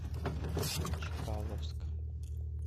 чкаловск